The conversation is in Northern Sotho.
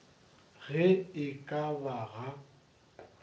ge e ka ba ga